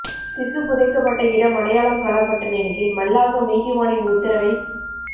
சிசு புதைக்கப்பட்ட இடம் அடையாளம் காணப்பட்ட நிலையில் மல்லாகம் நீதிவானின் உத்தரவைப்